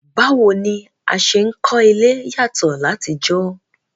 Báwo ni a se n kólé yàtọ́ látijọ́